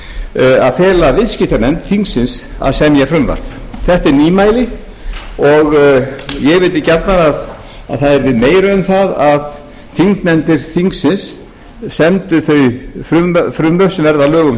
því að fela viðskiptanefnd þingsins að semja frumvarp þetta er nýmæli og ég vildi gjarnan að það væri meira um það að þingnefndir þingsins semdu þau frumvörp sem verða að lögum frá